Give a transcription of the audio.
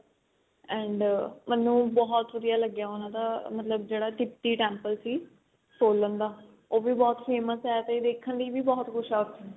and ਮੈਨੂੰ ਬਹੁਤ ਵਧੀਆ ਲਗਿਆ ਉਹਨਾ ਦਾ ਮਤਲਬ ਜਿਹੜਾ ਤਿਪਤੀ temple ਸੀ solon ਦਾ ਉਹ ਵੀ ਬਹੁਤ famous ਏ ਤੇ ਦੇਖਣ ਲਈ ਵੀ ਬਹੁਤ ਕੁੱਝ ਹੈ ਉੱਥੇ